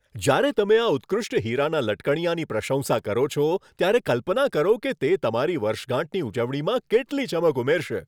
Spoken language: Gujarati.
જ્યારે તમે આ ઉત્કૃષ્ટ હીરાના લટકણિયાની પ્રશંસા કરો છો, ત્યારે કલ્પના કરો કે તે તમારી વર્ષગાંઠની ઉજવણીમાં કેટલી ચમક ઉમેરશે.